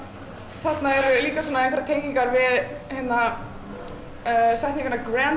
þarna eru líka einhverjar tengingar við setninguna grand